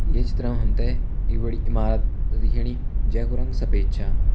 ये चित्र में हम्थे एक बड़ी ईमारत दिख्याणी जेकु रंग सफ़ेद च।